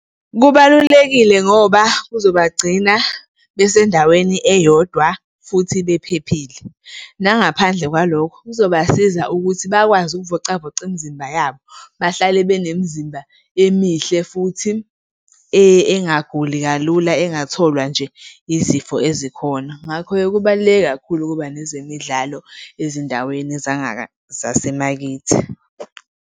Kubalulekile ngoba kuzobagcina besendaweni eyodwa futhi bephephile. Nangaphandle kwalokho kuzobasiza ukuthi bakwazi ukuvocavoca imizimba yabo, bahlale benemizimba emihle futhi engaguli kalula, engatholwa nje izifo ezikhona. Ngakho-ke, kubaluleke kakhulu ukuba nezemidlalo ezindaweni zasemakithi.